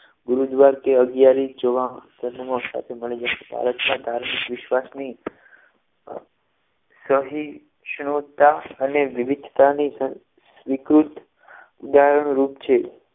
ગુરુદ્વાર કે અગિયારી જોવા સાથે મળી જશે ભારતમાં ધાર્મિક વિશ્વાસની સહિષ્ણુતા અને વિવિધતાની વિકૃત ઉદાહરણ અનુરૂપ છે